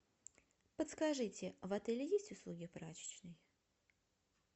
подскажите в отеле есть услуги прачечной